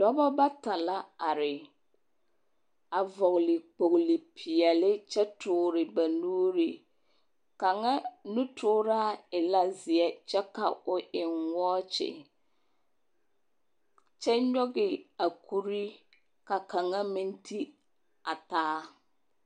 Dɔbɔ bata la are a vɔgele kpogili peɛle kyɛ tore ba nuuri. Kaŋa nutooraa e la zeɛ kyɛ ka o eŋ wɔɔkye kyɛnyɔge a kuri ka kaŋa meŋ ti a taa.